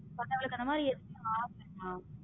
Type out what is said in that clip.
தனமா